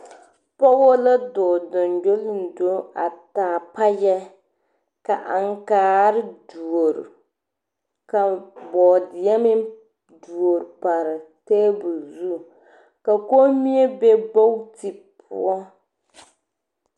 Pɔgebɔ la dɔɔ gyoŋgyoligyo a taa payɛ ka aŋkaar duori ka bɔɔdeɛ meŋ duori pare taabol zu ka komie be gbooti poɔ.